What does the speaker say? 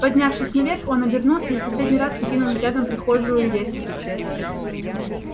поднявшись наверх он обернулся и в последний раз окинул взглядом прихожую и лестницу